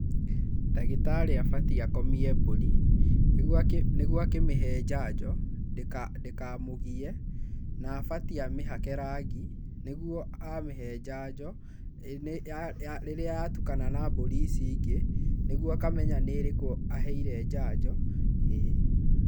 Ndagitarĩ abatiĩ akomie mbũri, nĩguo akĩmĩhe njanjo ndĩkamũgie. Na abatiĩ amĩhake rangi, nĩguo a mĩhe njanjo rĩrĩa ya tukana na mbũri ici ingĩ, nĩguo akamenya nĩ ĩrĩkũ aheire njanjo, ĩĩ.